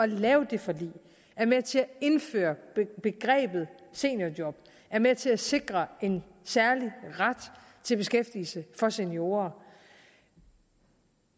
lave det forlig var med til at indføre begrebet seniorjob var med til at sikre en særlig ret til beskæftigelse for seniorer